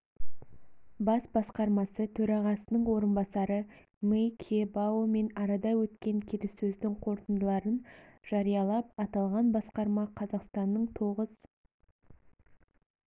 бас басқармасы төрағасының орынбасары мей кебаомен арада өткен келіссөздің қорытындыларын жариялап аталған басқарма қазақстанның тоғыз